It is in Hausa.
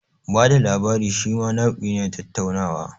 Bada labari shima nau'i ne na tattaunawa.